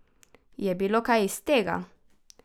Je bilo kaj iz tega?